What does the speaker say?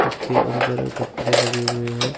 उसके अंदर कपड़े लगे हुए हैं।